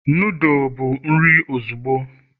noodle bụ nri ozugbo